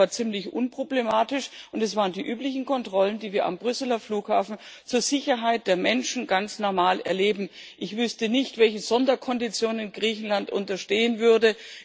Das war ziemlich unproblematisch, und es gab die üblichen Kontrollen, die wir am Brüsseler Flughafen zur Sicherheit der Menschen ganz normal erleben. Ich wüsste nicht, welchen Sonderkonditionen Griechenland unterstehen würde.